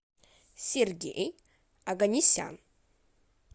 сергей оганесян